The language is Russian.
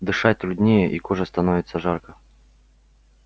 дышать труднее и коже становится жарко